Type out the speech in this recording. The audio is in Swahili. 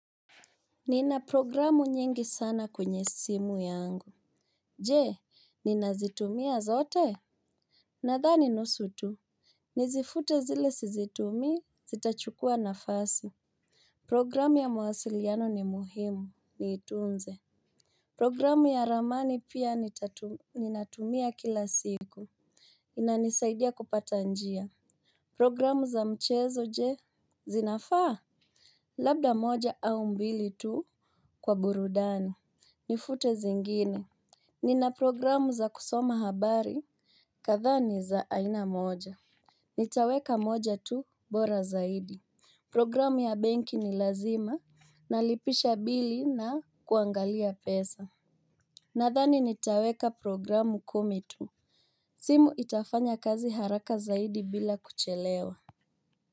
Nina programu nyingi sana kwenye simu yangu. Je, ninazitumia zote. Nadha ni nusu tu nizifute zile sizitumii zitachukuwa nafasi. Programu ya mawasiliano ni muhimu, niitunze. Programu ya ramani pia nitatu ninatumia kila siku, inanisaidia kupata njia. Programu za mchezo je Zinafaa. Labda moja au mbili tu. Kwa burudani. Nifute zingine. Nina programu za kusoma habari kadhaani za aina moja. Nitaweka moja tu bora zaidi. Programu ya benki ni lazima na lipisha bili na kuangalia pesa. Nadhani nitaweka programu kumi tu. Simu itafanya kazi haraka zaidi bila kuchelewa.